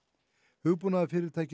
hugbúnaðarfyrirtækið